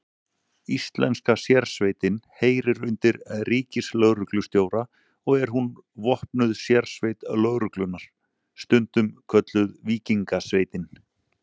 Íslenska sérsveitin heyrir undir ríkislögreglustjóra og er hún vopnuð sérsveit lögreglunnar, stundum kölluð Víkingasveitin.